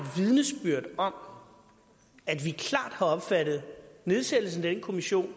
vidnesbyrd om at vi klart har opfattet nedsættelsen af den kommission